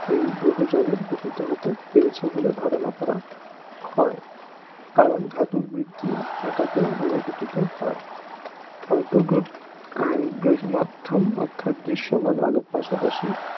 এই গ্রহ জগৎ গঠিত হতে পেরেছে বলে ধারণা করা হয় কারণ ধাতুর বৃদ্ধি থাকাতেই গ্রহ গঠিত হয় আন্তঃগ্র~ গ্রহীয়মাধ্যম অর্থাৎ দৃশ্যমান আলোর পাশাপাশি